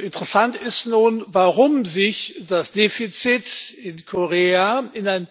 Interessant ist nun, warum sich das Defizit in Korea in einen